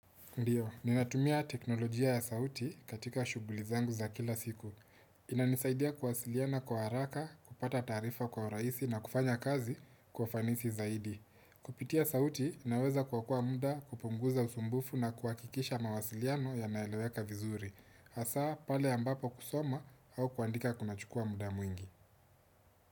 Ndiyo, ninatumia teknolojia ya sauti katika shughuli zangu za kila siku. Inanisaidia kuwasiliana kwa haraka, kupata taarifa kwa rahisi na kufanya kazi kwa ufanisi zaidi. Kupitia sauti, naweza kuokoa muda kupunguza usumbufu na kuakikisha mawasiliano yanaeleweka vizuri. Hasa, pale ambapo kusoma au kuandika kunachukua muda mwingi.